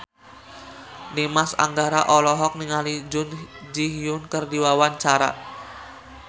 Dimas Anggara olohok ningali Jun Ji Hyun keur diwawancara